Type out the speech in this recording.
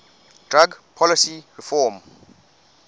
drug policy reform